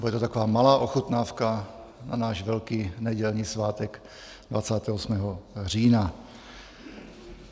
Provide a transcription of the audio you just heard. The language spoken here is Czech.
Bude to taková malá ochutnávka na náš velký nedělní svátek 28. října.